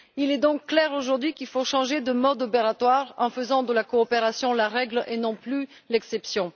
Il est donc clair, aujourd'hui, qu'il faut changer de mode opératoire en faisant de la coopération la règle et non plus l'exception.